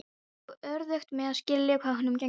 Ég á örðugt með að skilja hvað honum gengur til.